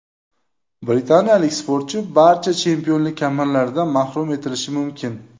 Britaniyalik sportchi barcha chempionlik kamarlaridan mahrum etilishi mumkin.